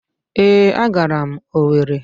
ee, agara m Owere.